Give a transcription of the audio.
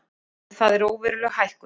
En það er óveruleg hækkun